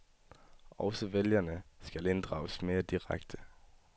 Også vælgerne skal inddrages mere direkte.